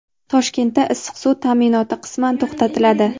Toshkentda issiq suv taʼminoti qisman to‘xtatiladi.